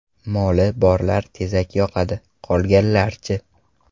Moli borlar tezak yoqadi, qolganlar-chi?!